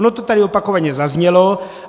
Ono to tady opakovaně zaznělo.